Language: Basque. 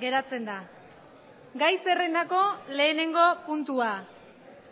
geratzen da gai zerrendako lehenengo puntua